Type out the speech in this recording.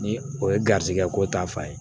Ni o ye garizigɛ ko ta fan ye